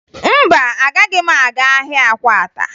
Mba, agaghị m aga ahịa Akwata